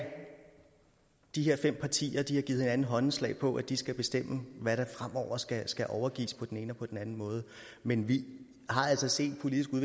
de her fem partier har givet hinanden håndslag på at de skal bestemme hvad der fremover skal skal overgives på den ene og på den anden måde men vi har altså set